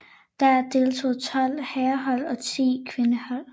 Der deltog tolv herrehold og ti kvindehold